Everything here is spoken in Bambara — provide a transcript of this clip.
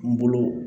N bolo